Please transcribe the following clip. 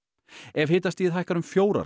ef hitastigið hækkar um fjórar